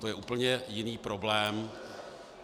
To je úplně jiný problém.